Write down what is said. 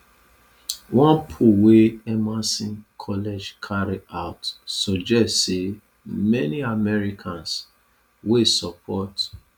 one poll wey emerson college carry out suggest say many americans wey support